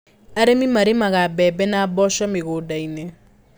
Arĩmi marĩmaga mbembe na mboco mĩgũndainĩ.